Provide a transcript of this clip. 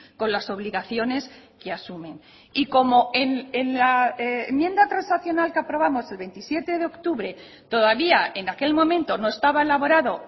con las obligaciones que asumen y como en la enmienda transaccional que aprobamos el veintisiete de octubre todavía en aquel momento no estaba elaborado